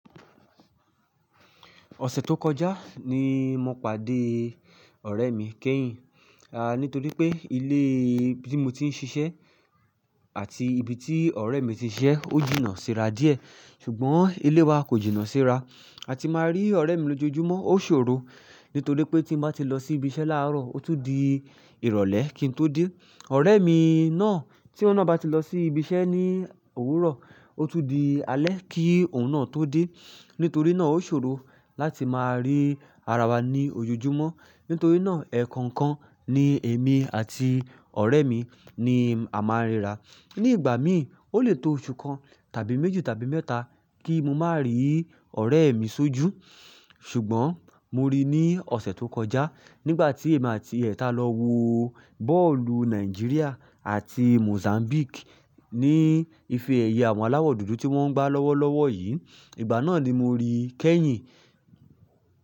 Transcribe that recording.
Ọ̀sẹ̀ tó kọjá ni mo pàdé ọ̀rẹ́ mi, kẹ́yin. A nítorípé ilé ibi tí mo ti ń ṣiṣẹ́ àti ibi tí ọ̀rẹ́mi ti ń ṣiṣẹ́ ó jìnnà síra díẹ̀. Ṣùgbọ́n ilé wa kò jìnnà síra. A ti máa rí ọ̀rẹ́ mi lójoojúmọ́, ó ṣòro. Nítorípé tí n bá ti lọsí ibí iṣẹ́ láàrọ̀ ó tún di ìrọ̀lẹ́ kí n tó dé. Ọ̀rẹ́ mi náà tí óun náà bá ti lọ sí ibi iṣẹ́ ní òwúrọ̀ ó tún di alẹ́ kí òun náà tó dé. Nítorí náà ó ṣòro láti máa rí ara wa ní ojoojúmọ́. Nítorí náà ẹ̀ẹ̀kan kan ni èmi àti ọ̀rẹ́ mi ni a máa ríra. Ní ìgbàmí ó lè tó osun kan tàbí méjì, tàbí mẹ́ta kí n máa rí ọ̀rẹ́mi sójú. Ṣùgbọ́n mo rí i ní ọ̀sẹ̀ tó kọjá nígbà tí èmi àti ẹ̀tà lọ wo bọ́ọ̀lù Nàìjíríà àti Mozambique ní ìfẹ́ ẹ̀yà àwọn aláwọ̀ dúdú tí wọ́n ń gbá lọ́wọ́lọ́wọ́ yìí. Ìgbà náà ni mo rí kẹ́yin.